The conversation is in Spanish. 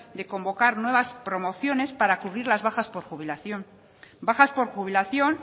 de convocar nuevas promociones para cubrir las bajas por jubilación bajas por jubilación